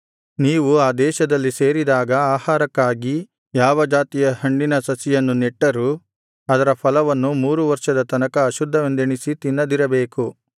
ನೀವು ಆ ದೇಶದಲ್ಲಿ ಸೇರಿದಾಗ ಆಹಾರಕ್ಕಾಗಿ ಯಾವ ಜಾತಿಯ ಹಣ್ಣಿನ ಸಸಿಯನ್ನು ನೆಟ್ಟರೂ ಅದರ ಫಲವನ್ನು ಮೂರು ವರ್ಷದ ತನಕ ಅಶುದ್ಧವೆಂದೆಣಿಸಿ ತಿನ್ನದಿರಬೇಕು